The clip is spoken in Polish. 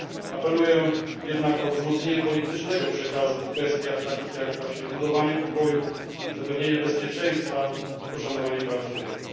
Apeluję jednak o wzmocnienie politycznego przekazu w kwestiach takich właśnie jak budowanie pokoju, zapewnienie bezpieczeństwa i poszanowanie praw człowieka.